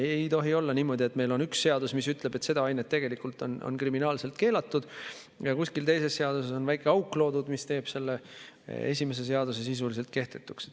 Ei tohi olla niimoodi, et meil on üks seadus, mis ütleb, et see aine on kriminaal keelatud, aga kuskil teises seaduses on loodud väike auk, mis teeb esimese seaduse sisuliselt kehtetuks.